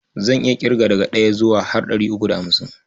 Zan iya ƙirga daga ɗaya har zuwa ɗari uku da hamsin.